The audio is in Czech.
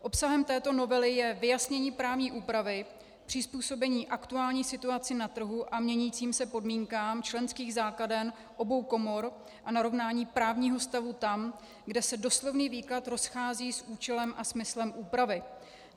Obsahem této novely je vyjasnění právní úpravy, přizpůsobení aktuální situaci na trhu a měnícím se podmínkám členských základen obou komor a narovnání právního stavu tam, kde se doslovný výklad rozchází s účelem a smyslem úpravy.